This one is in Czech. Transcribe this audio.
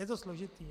Je to složité.